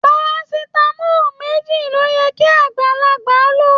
Parasitamọ méjì ló yẹ kí agbalagba ló.